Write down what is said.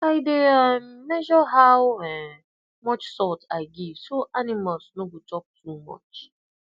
i dey um measure how um much salt i give so animals no go chop too much